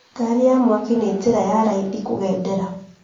Ngari ya mwaki nĩ njĩra ya raithi kũgendera